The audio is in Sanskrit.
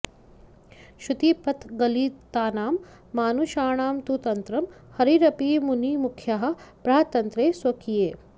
श्रुतिपथगलितानां मानुषाणां तु तन्त्रं हरिरपि मुनिमुख्याः प्राह तन्त्रे स्वकीये